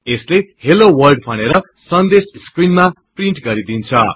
यसले hello world भनेर सन्देश स्क्रिनमा प्रिन्ट गरिदिन्छ